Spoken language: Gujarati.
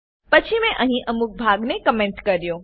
પછી મેં અહી અમુક ભાગ ને કમેન્ટ કર્યો